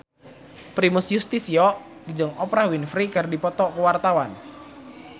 Primus Yustisio jeung Oprah Winfrey keur dipoto ku wartawan